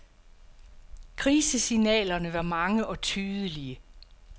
Krisesignalerne var mange og tydelige.